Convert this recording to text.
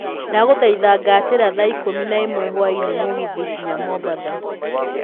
ndagũthaitha ngatĩra thaa ikũmi na ĩmwe hwaĩinĩ mũgithi nginya mombatha